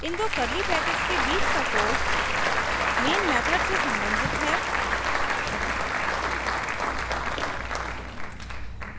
इन दो curly brackets के बीच का code main method से संबंधित है